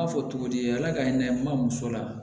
N b'a fɔ cogo di ala ka hinɛ n ma muso la